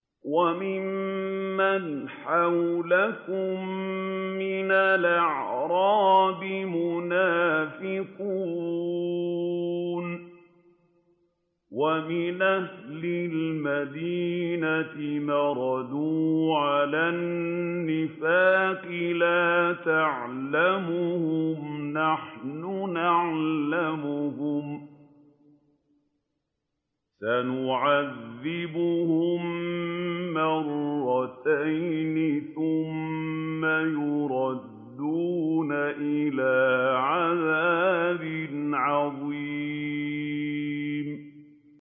وَمِمَّنْ حَوْلَكُم مِّنَ الْأَعْرَابِ مُنَافِقُونَ ۖ وَمِنْ أَهْلِ الْمَدِينَةِ ۖ مَرَدُوا عَلَى النِّفَاقِ لَا تَعْلَمُهُمْ ۖ نَحْنُ نَعْلَمُهُمْ ۚ سَنُعَذِّبُهُم مَّرَّتَيْنِ ثُمَّ يُرَدُّونَ إِلَىٰ عَذَابٍ عَظِيمٍ